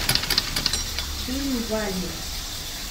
фильм валли